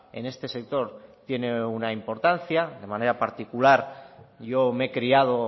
en este sector tiene una importancia de manera particular yo me he criado